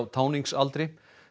táningsaldri